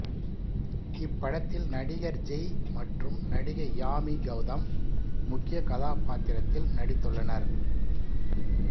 இப்படத்தில் நடிகர் ஜெய் மற்றும் நடிகை யாமி கெளதம் முக்கிய கதாபாத்திரத்தில் நடித்துள்ளனர்